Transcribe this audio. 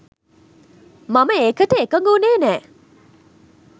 මම ඒකට එකඟ වුණේ නෑ